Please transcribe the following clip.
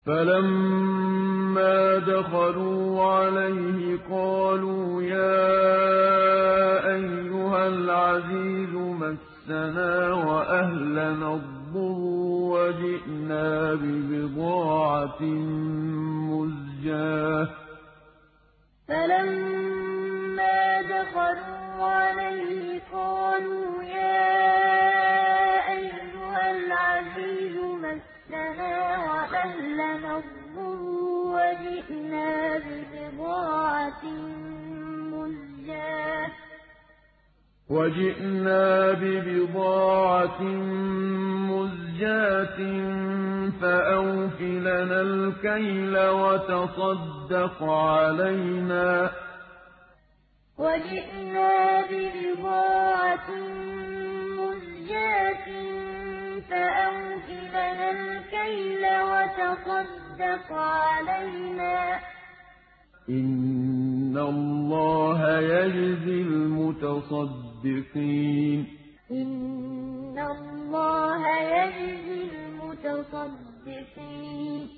فَلَمَّا دَخَلُوا عَلَيْهِ قَالُوا يَا أَيُّهَا الْعَزِيزُ مَسَّنَا وَأَهْلَنَا الضُّرُّ وَجِئْنَا بِبِضَاعَةٍ مُّزْجَاةٍ فَأَوْفِ لَنَا الْكَيْلَ وَتَصَدَّقْ عَلَيْنَا ۖ إِنَّ اللَّهَ يَجْزِي الْمُتَصَدِّقِينَ فَلَمَّا دَخَلُوا عَلَيْهِ قَالُوا يَا أَيُّهَا الْعَزِيزُ مَسَّنَا وَأَهْلَنَا الضُّرُّ وَجِئْنَا بِبِضَاعَةٍ مُّزْجَاةٍ فَأَوْفِ لَنَا الْكَيْلَ وَتَصَدَّقْ عَلَيْنَا ۖ إِنَّ اللَّهَ يَجْزِي الْمُتَصَدِّقِينَ